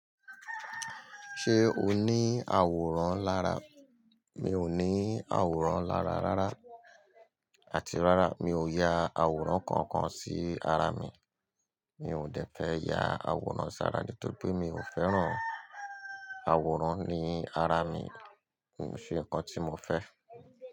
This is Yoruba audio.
Ṣé o ní àwòrán lára? Mi ò ní àwòrán lára rárá. Àti rárá, mi ò ya àwòrán kankan sí ara mi. Mi ò dẹ fẹ́ ya àwòrán sara nítorí pé mi ò fẹ́ràn àwòrán ní ara mi. Kò n ṣe nǹkan tí mo fẹ́.